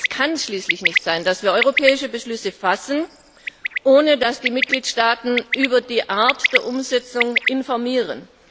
Es kann schließlich nicht sein, dass wir europäische Beschlüsse fassen, ohne dass die Mitgliedstaaten über die Art der Umsetzung informieren.